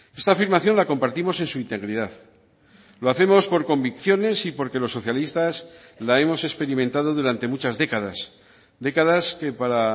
esta afirmación la compartimos en su integridad lo hacemos por convicciones y porque los socialistas la hemos experimentado durante muchas décadas décadas que para